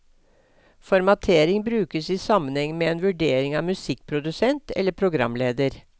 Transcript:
Formatering brukes i sammenheng med en vurdering av musikkprodusent eller programleder.